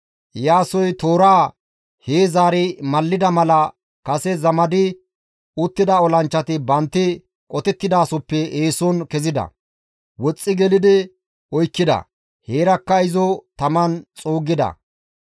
Iyaasoy tooraa hee zaari mallida mala kase zamadi uttida olanchchati bantti qotettidasoppe eeson kezida. Woxxi gelidi oykkida; heerakka izo taman xuuggida.